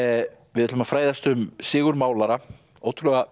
við ætlum að fræðast um Sigurð málara ótrúlega